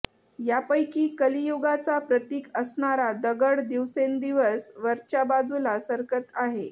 यापैकी कलियुगाचा प्रतिक असणारा दगड दिवसेंदिवस वरच्या बाजूला सरकत आहे